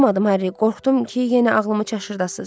Hə, oxumadım Harri, qorxdum ki, yenə ağlımı çaşdırasız.